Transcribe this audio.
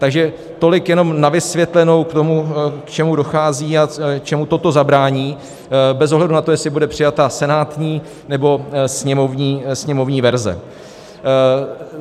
Takže tolik jenom na vysvětlenou k tomu, k čemu dochází a čemu toto zabrání bez ohledu na to, jestli bude přijata senátní, nebo sněmovní verze.